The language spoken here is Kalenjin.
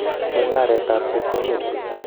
Mung'aretab chepkondok